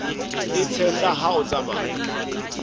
e tshehla ha o tsamaya